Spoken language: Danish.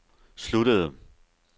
sluttede